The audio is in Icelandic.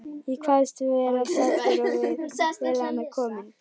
Ég kvaðst vera saddur og vel á mig kominn.